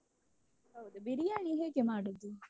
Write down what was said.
ಹೌದಾ ಬಿರಿಯಾನಿ ಹೇಗೆ ಮಾಡುದು?